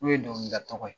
N'o ye dɔnkilida tɔgɔ ye